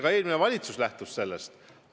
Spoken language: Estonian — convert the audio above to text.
Ka eelmine valitsus lähtus sellest.